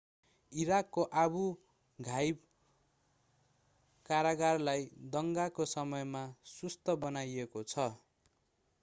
इराकको Abu Ghraib कारागारलाई दंगाको समयमा सुस्त बनाइएको छ